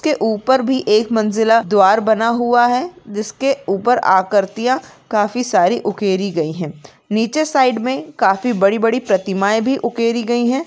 उसके ऊपर भी एक मंज़िला द्वार बना हुआ है जिसके ऊपर आकृतिया काफी सारी उकेरी गयी है नीचे साइड मे काफी बड़ी बड़ी प्रतिमा भी उकेरी गयी है।